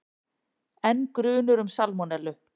Enn grunur um salmonellu